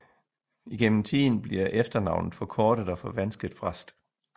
Igennem tiden bliver efternavnet forkortet og forvansket fra St